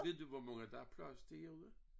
Ved du hvor mange der er plads til herude?